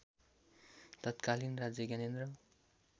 तत्कालीन राजा ज्ञानेन्द्र